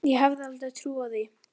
Ég hefði aldrei trúað því.